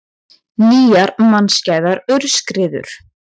Nýjar mannskæðar aurskriður